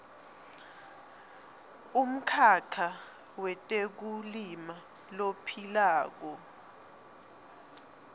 umkhakha wetekulima lophilako